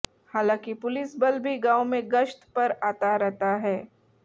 हांलाकि पुलिस बल भी गांव में गश्त पर आता रहता है